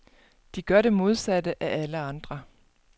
De gør det modsatte af alle andre.